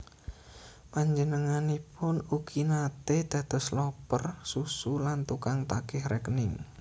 Panjenenganipun ugi naté dados loper susu lan tukang tagih rékening